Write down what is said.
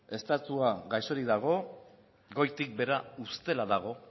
estatua gaixorik dago goitik behera ustela dago